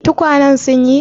Tukwanen sun yi?